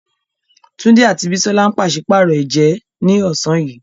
Tunde àti Bisola ń pàṣípààrọ̀ ẹ̀jẹ́ ní ọ̀sán yìí.